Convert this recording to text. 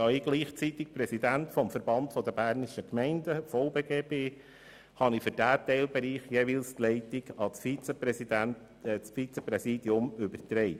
Da ich zugleich Präsident des Verbands Bernischer Gemeinden (VBG) bin, habe ich für diesen Teil die Leitung an das Vizepräsidium übertragen.